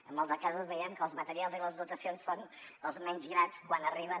en molts de casos veiem que els materials i les dotacions són els menys grats quan arriben